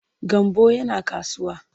Gambo yana kasuwa.